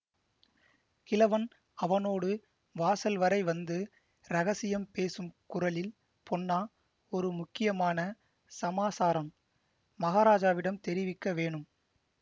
கிழவன் அவனோடு வாசல் வரை வந்து இரகசியம் பேசும் குரலில் பொன்னா ஒரு முக்கியமான சமாசாரம் மகாராஜாவிடம் தெரிவிக்க வேணும்